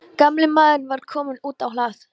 Gamli maðurinn var kominn út á hlað.